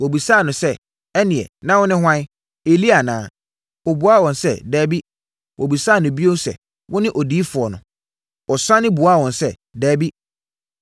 Wɔbisaa no sɛ, “Ɛnneɛ, na wone hwan, Elia anaa?” Ɔbuaa wɔn sɛ, “Dabi.” Wɔbisaa no bio sɛ, “Wone Odiyifoɔ no?” Ɔsane buaa wɔn sɛ, “Dabi”.